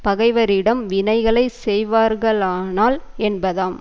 பகைவரிடம் வினைகளை செய்வார்களானால் என்பதாம்